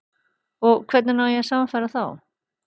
Og hvernig á að sannfæra þá?